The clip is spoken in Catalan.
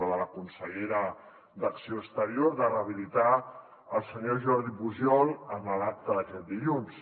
de la consellera d’acció exterior de rehabilitar el senyor jordi pujol en l’acte d’aquest dilluns